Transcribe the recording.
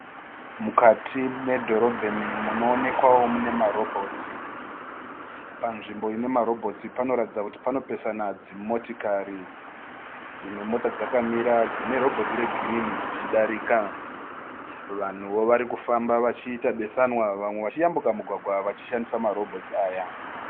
Mukati medhorobheni munoonekwao mune marobhotsi. Panzvimbo ine marobhotsi panoratidza kuti panopesana dzimotikari. Dzimwe mota dzakamira dzine robhoti regirini dzichidarika. Vanhuo varikufamba vachiita besanwa vachiyambuka mugwagwa vachishandisa marobhotsi aya.